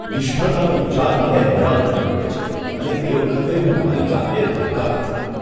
નિષ્ફળતાનો વિચાર મને હેરાન કરી મૂકે છે અને તે વખતે હું મારી જાતને ધિક્કારું છું.